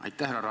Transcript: Aitäh!